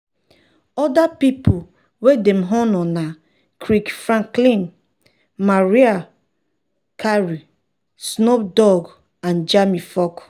oda um pipo wey dem honour na kirk franklin mariah carey um snoop dogg and jamie foxx.